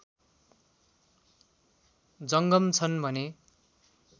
जङ्गम छन् भने